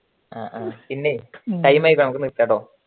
ആ time ആയി നിർത്തട്ടൊ